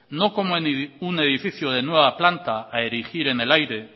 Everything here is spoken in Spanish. no como un edificio de nueva planta a erigir en el aire